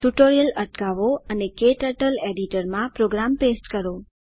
tutorial અટકાવો અને KTurtle editor માં પ્રોગ્રામ પેસ્ટ કરો